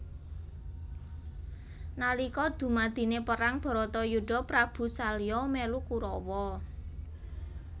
Nalika dumadine perang baratayuda Prabu salya melu Kurawa